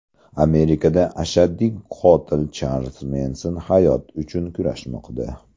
Amerikada ashaddiy qotil Charlz Menson hayot uchun kurashmoqda.